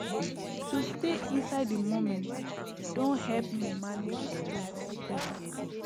to stay inside the moment don help me manage stress better